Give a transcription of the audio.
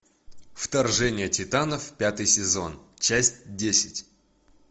вторжение титанов пятый сезон часть десять